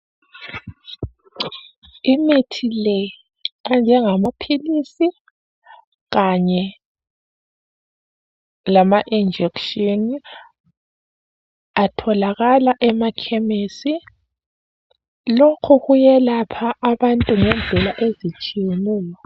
Imithi le enjengamaphilisi kanye lama injection atholakala emakhemisi lokhu kuyelapha abantu ngendlela ezitshiyeneyo